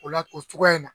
O la o cogoya in na